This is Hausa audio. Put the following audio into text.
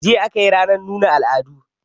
Jiya aka yi ranar nuna al'adu